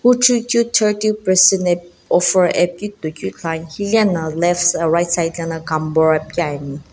huchuikeu thirty percent offer ae pikeu titoikeu ithuluani hilena lefts right side lana cambor ipikeu ani.